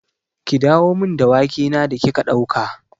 Ki dawo min da wake na da kika ɗauka!